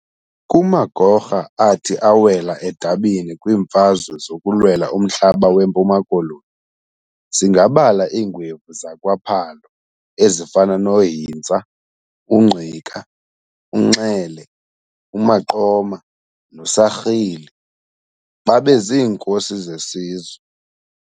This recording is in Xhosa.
Kumagorha athi awela edabini kwiimfazwe zokulwela umhlaba weMpuma Koloni singabala iingwevu zakwa Phalo ezifana no Hintsa, uNgqika, uNxele, uMaqoma no Sarhili, babe ziinkosi zesizwe.